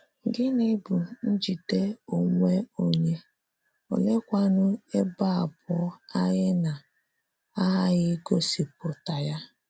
Gịnị bụ njide onwe onye?, oleekwanu ebe abụọ anyị na - aghaghị igosipụta ya?